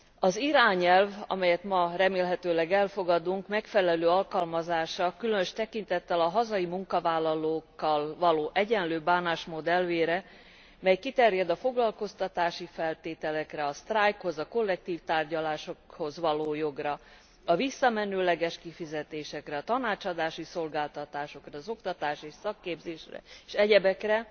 Az irányelv amelyet ma remélhetőleg elfogadunk megfelelő alkalmazása különös tekintettel a hazai munkavállalókkal való egyenlő bánásmód elvére, mely kiterjed a foglalkoztatási feltételekre, a sztrájkhoz, a kollektív tárgyalásokhoz való jogra, a visszamenőleges kifizetésekre, a tanácsadási szolgáltatásokra, az oktatási és szakképzésre és egyebekre,